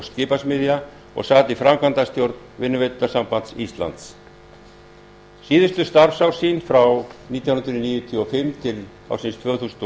skipasmiðja og sat í framkvæmdastjórn vinnuveitendasambands íslands síðustu starfsár sín frá nítján hundruð níutíu og fimm til tvö þúsund